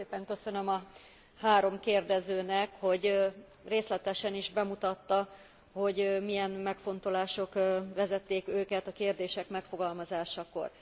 Nagyon szépen köszönöm a három kérdezőnek, hogy részletesen is bemutatta, hogy milyen megfontolások vezették őket a kérdések megfogalmazásakor.